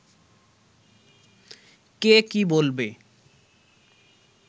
কে কী বলবে